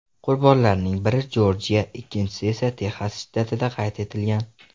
Qurbonlarning biri Jorjiya, ikkinchisi esa Texas shtatida qayd etilgan.